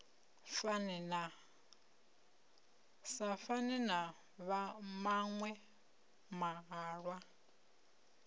sa fane na maṅwe mahalwa